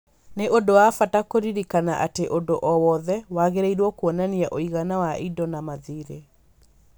Nĩ ũndũ wa bata kũririkana atĩ ũndũ o wothe wagĩrĩirũo kuonania ũigana wa indo na mathirĩ.